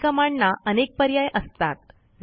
काही Commandना अनेक पर्याय असतात